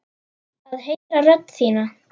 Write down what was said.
Að heyra rödd þína.